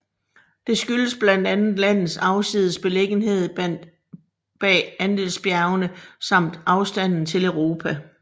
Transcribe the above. Det skyldes blandt andet landets afsides beliggenhed bag Andesbjergene samt afstanden til Europa